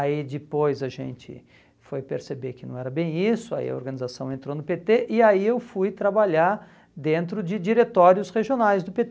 Aí depois a gente foi perceber que não era bem isso, aí a organização entrou no pê tê e aí eu fui trabalhar dentro de diretórios regionais do pê